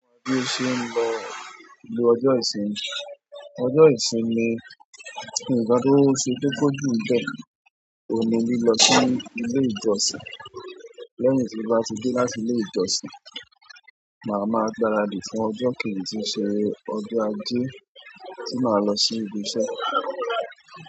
Bi o se n lo ọjọ́ ìsinmi. Ọjọ́ ìsinmi, nǹkan to se kókó ju n bẹ oun ni lilọ sí ilé ìjọsìn. Lẹ́yìn tí mo bá ti dé láti ilé ìjọsìn, màá maa gbáradì fún ọjọ́ kejì tí ṣe ọjọ́ ajé tí màá lọ sí ibi iṣẹ́.